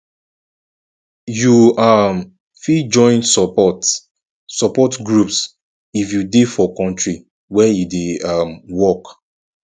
you um fit join support support groups if you dey for country where e dey um work